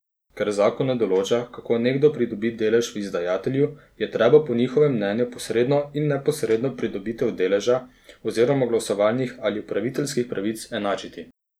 Ker zakon ne določa, kako nekdo pridobi delež v izdajatelju, je treba po njihovem mnenju posredno in neposredno pridobitev deleža oziroma glasovalnih ali upravljavskih pravic enačiti.